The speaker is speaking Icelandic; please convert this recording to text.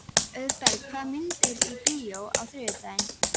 Auðberg, hvaða myndir eru í bíó á þriðjudaginn?